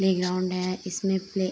Playground है। इसमें play --